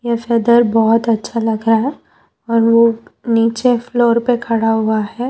यह दृश्य बहोत अच्छा लग रहा है और वह नीचे फ्लोर पर खड़ा हुआ है।